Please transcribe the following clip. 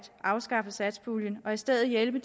afskaffe satspuljen og i stedet hjælpe